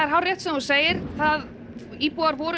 hárrétt sem þú segir íbúar voru